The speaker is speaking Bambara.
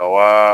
Wa